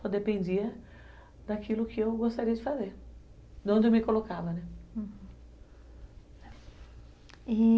Só dependia daquilo que eu gostaria de fazer, de onde eu me colocava, né. Uhum, e